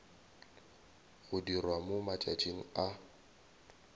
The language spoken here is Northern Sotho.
go dirwa mo matšatšing a